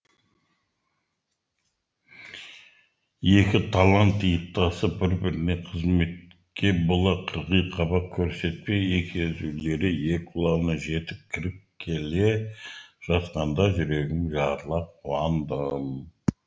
екі талант иықтасып бір біріне қызметке бола қырғи қабақ көрсетпей екі езулері екі құлағына жетіп кіріп келе жатқанда жүрегім жарыла қуандым